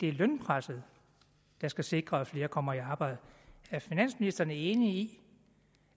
er lønpresset der skal sikre at flere kommer i arbejde er finansministeren enig i